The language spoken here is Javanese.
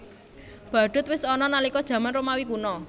Badhut wis ana nalika jaman Romawi Kuna